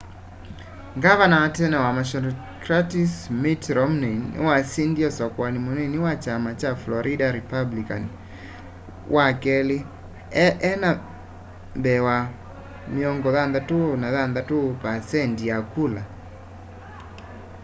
gavana wa tene wa massachusetts mitt romney niwasindie usakuani munini wa kyama kya florida republican wakeli enda mbee wa 46 percenti ya kula